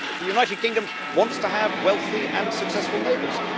The United Kingdom wants to have wealthy and successful neighbours.